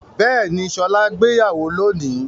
Bẹ́ẹ̀ni, Ṣọlá gbéyàwó lónìí.